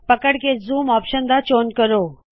ਪਕੜ ਕੇ ਕੋਈ ਇਕ ਜ਼ੂਮ ਆਪਸ਼ਨ ਦਾ ਚੌਣ ਕਰੋ